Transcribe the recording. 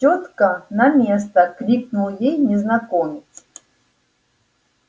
тётка на место крикнул ей незнакомец